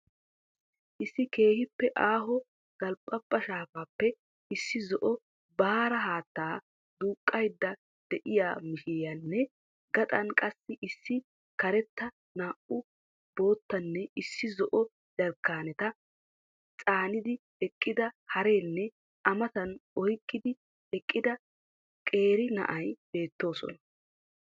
Issi keehiippe aaho delphephaa shaafaappe issi zo'o baara haattaa duuqqaydda de'iya mishshiriyanne, gaxxaan qassi issi karetta, naa'u boottaanne issi zo'o jarkkaaneta caanidi eqqida hareenne a matan oyqqid eqqida qeeri na'ay beettoosona.